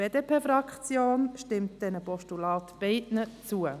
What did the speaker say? Die BDP stimmt diesen beiden Postulaten zu.